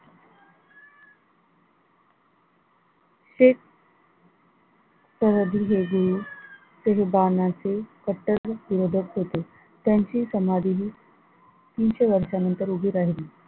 हेच ते लुबाडण्याचा कट्टर विरोधक होते त्यांची समाधीही तीनशे वर्षानंतर उभी राहिली.